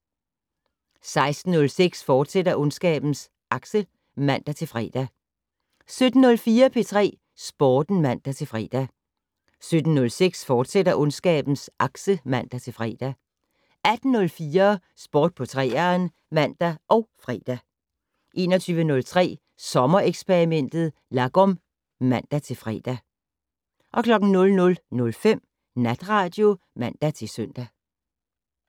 16:06: Ondskabens Akse, fortsat (man-fre) 17:04: P3 Sporten (man-fre) 17:06: Ondskabens Akse, fortsat (man-fre) 18:04: Sport på 3'eren (man og fre) 21:03: Sommereksperimentet: Lagom (man-fre) 00:05: Natradio (man-søn)